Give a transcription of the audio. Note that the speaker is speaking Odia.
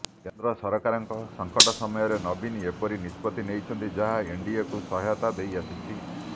କେନ୍ଦ୍ର ସରକାରଙ୍କ ସଙ୍କଟ ସମୟରେ ନବୀନ ଏପରି ନିଷ୍ପତ୍ତିି ନେଇଛନ୍ତି ଯାହା ଏନଡିଏକୁ ସହାୟତା ଦେଇ ଆସିଛି